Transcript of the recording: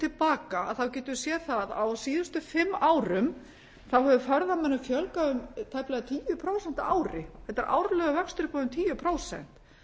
til baka þá getum við séð það að á síðustu fimm árum þá hefur ferðamönnum fjölgað um tæplega tíu prósent á ári þetta er árlegur vöxtur upp á um tíu prósent